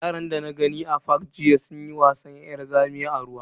Yaran dana gani a fak sunyi wasan yar zamiya a ruwa.